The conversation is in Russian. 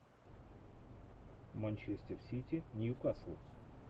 манчестер сити ньюкасл